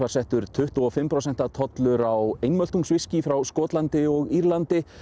settur tuttugu og fimm prósenta tollur á frá Skotlandi og Írlandi